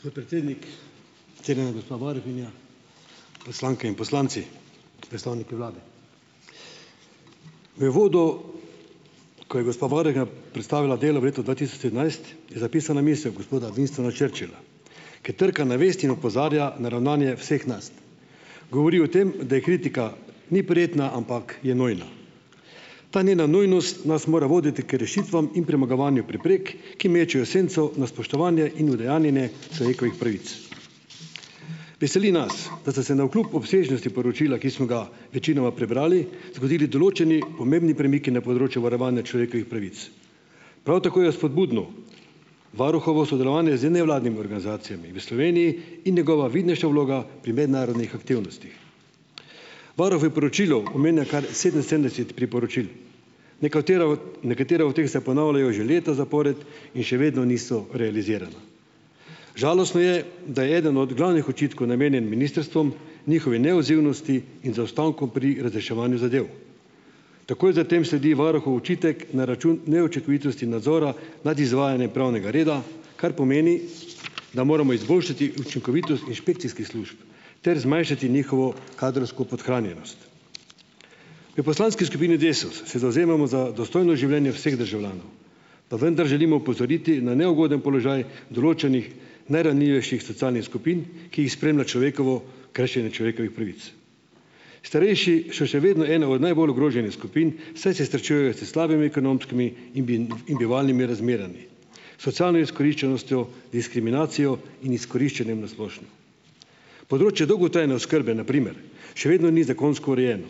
Gospod predsednik, cenjena gospa varuhinja, poslanke in poslanci, predstavniki vlade! V uvodu, ko je gospa varuhinja predstavila delo v letu dva tisoč sedemnajst je zapisana misel gospoda Winstona Churchilla, ki trka na vest in opozarja na ravnanje vseh nas. Govori o tem, da je kritika ni prijetna, ampak je nujna. Ta njena nujnost nas mora voditi k rešitvam in premagovanju preprek, ki mečejo senco na spoštovanje in udejanjenje človekovih pravic. Veseli nas, da ste se navkljub obsežnosti poročila, ki smo ga večinoma prebrali, zgodili določeni pomembni premiki na področju varovanja človekovih pravic. Prav tako je spodbudno varuhovo sodelovanje z nevladnimi organizacijami v Sloveniji in njegova vidnejša vloga pri mednarodnih aktivnostih. Varuh v poročilu omenja, kar sedeminsedemdeset priporočil. Nekatere od, nekatera od teh se ponavljajo že leta zapored in še vedno niso realizirana. Žalostno je, da je eden od glavnih očitkov namenjen ministrstvom, njihovi neodzivnosti in zaostankom pri razreševanju zadev. Takoj za tem sledi varuhov očitek na račun neučinkovitosti nadzora nad izvajanjem pravnega reda, kar pomeni, da moramo izboljšati učinkovitost inšpekcijskih služb ter zmanjšati njihovo kadrovsko podhranjenost. V poslanski skupini Desus se zavzemamo za dostojno življenje vseh državljanov, pa vendar želimo opozoriti na neugoden položaj določenih najranljivejših socialnih skupin, ki jih spremlja človekovo kršenje človekovih pravic. Starejši so še vedno ena od najbolj ogroženih skupin, saj se srečujejo s slabimi ekonomskimi in in bivalnimi razmerami, socialno izkoriščenostjo, diskriminacijo in izkoriščanjem na splošno. Področje dolgotrajne oskrbe, na primer, še vedno ni zakonsko urejeno.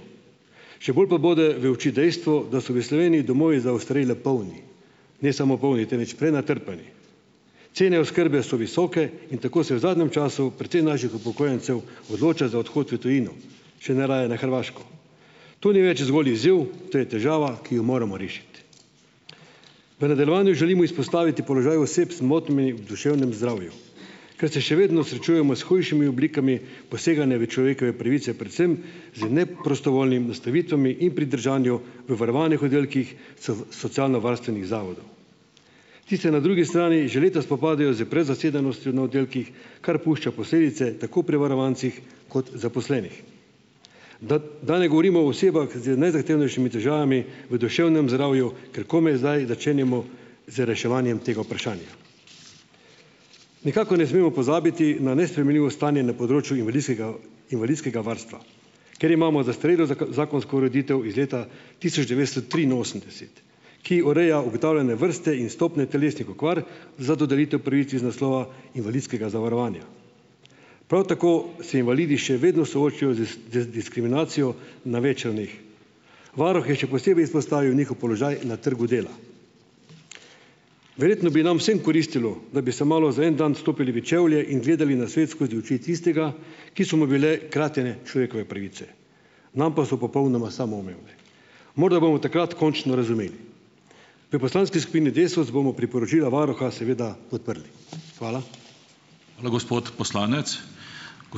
Še bolj pa bode v oči dejstvo, da so v Sloveniji domovi za ostarele polni. Ne samo polni, temveč prenatrpani. Cene oskrbe so visoke in tako se v zadnjem času precej naših upokojencev odloča za odhod v tujino. Še najraje na Hrvaško. To ni več zgolj izziv, to je težava, ki jo moramo rešiti. V nadaljevanju želimo izpostaviti položaj oseb s motnjami v duševnem zdravju, ker se še vedno srečujemo s hujšimi oblikami poseganja v človekove pravice, predvsem z neprostovoljnimi nastanitvami in pridržanju v varovanih oddelkih socialnovarstvenih zavodov. Ti se na drugi strani že leta spopadajo s prezasedenostjo na oddelkih, kar pušča posledice, tako pri varovancih kot zaposlenih. Da ... Da ne govorim o osebah z najzahtevnejšimi težavami v duševnem zdravju, ker komaj zdaj začenjamo z reševanjem tega vprašanja. Nekako ne smemo pozabiti na nesprejemljivo stanje na področju invalidskega invalidskega varstva, ker imamo zastarelo zakonsko ureditev iz leta tisoč devetsto triinosemdeset, ki ureja ugotovljene vrste in stopnje telesnih okvar za dodelitev pravic iz naslova invalidskega zavarovanja. Prav tako se invalidi še vedno soočajo z z z diskriminacijo na več ravneh. Varuh je še posebej izpostavil njihov položaj na trgu dela. Verjetno bi nam vsem koristilo, da bi se malo za en dan - stopili v čevlje in gledali na svet skozi oči tistega, ki so mu bile kratene človekove pravice, nam pa so popolnoma samoumevne. Morda bomo takrat končno razumeli. V poslanski skupini Desus bomo priporočila varuha seveda podprli. Hvala.